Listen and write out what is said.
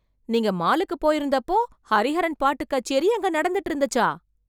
நீங்க மாலுக்கு போயிருந்தப்போ, ஹரிஹரன் பாட்டுக் கச்சேரி அங்கே நடந்துட்டு இருந்துச்சா...